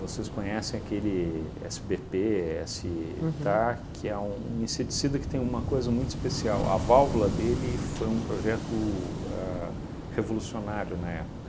conhecem aquele esse bê pê, esse, uhum, tá? Que é um um inseticida que tem uma coisa muito especial, a válvula dele foi um projeto a revolucionário na época.